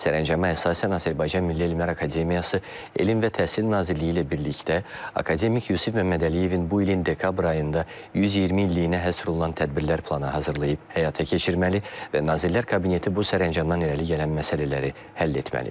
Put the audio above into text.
Sərəncama əsasən Azərbaycan Milli Elmlər Akademiyası Elm və Təhsil Nazirliyi ilə birlikdə akademik Yusif Məmmədəliyevin bu ilin dekabr ayında 120 illiyinə həsr olunan tədbirlər planı hazırlayıb həyata keçirməli və Nazirlər Kabineti bu sərəncamdan irəli gələn məsələləri həll etməlidir.